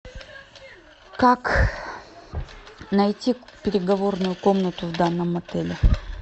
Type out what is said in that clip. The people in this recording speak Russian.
как найти переговорную комнату в данном отеле